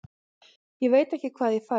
Ég veit ekki hvað ég fæ.